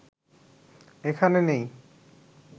এখানে নেই